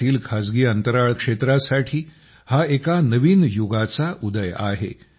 भारतातील खासगी अंतराळ क्षेत्रासाठी हा एका नवीन युगाचा उदय आहे